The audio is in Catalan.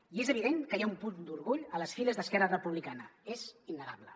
i és evident que hi ha un punt d’orgull a les files d’esquerra republicana és innegable